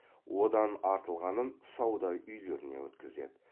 одан артылғанын сауда үйлеріне өткізеді